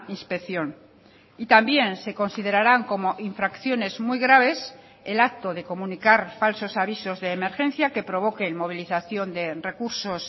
inspección y también se considerarán como infracciones muy graves el acto de comunicar falsos avisos de emergencia que provoquen movilización de recursos